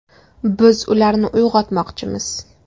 Biz ularni uyg‘otmoqchimiz.